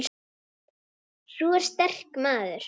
Sú er sterk, maður!